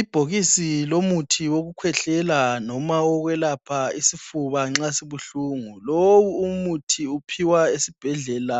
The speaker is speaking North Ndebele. Ibhokisi lomuthi wokukhwehlela noma owokwelapha isifuba nxa sibuhlungu. Lowu umuthi uwuphiwa esibhedlela